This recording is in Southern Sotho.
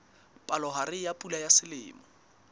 palohare ya pula ya selemo